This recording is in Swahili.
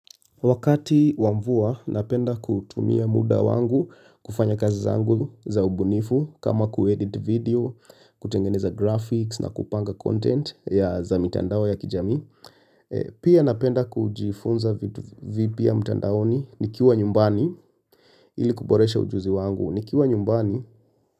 Wakati wamvua, napenda kutumia muda wangu kufanya kazi zangu za ubunifu kama kuedit video, kutengeneza graphics na kupanga content ya za mitandao ya kijami. Pia napenda kujifunza vitu vipya mitandaoni nikiwa nyumbani ili kuboresha ujuzi wangu nikiwa nyumbani.